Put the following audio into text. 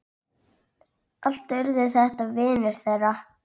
Allt urðu þetta vinir þeirra.